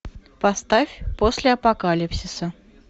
поставь после апокалипсиса